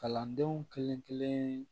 Kalandenw kelen-kelen